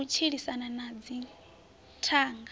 na u tshilisana na dzithanga